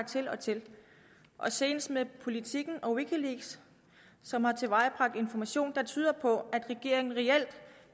til og til senest med politiken og wikileaks som har tilvejebragt information der tyder på at regeringen reelt